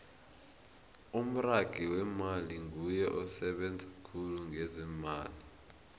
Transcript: umragi wemmali nguye osebenza khulu ngezeemali